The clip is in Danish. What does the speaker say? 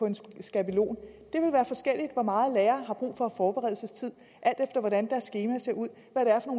en skabelon det vil være forskelligt hvor meget lærere har brug for af forberedelsestid alt efter hvordan deres skema ser ud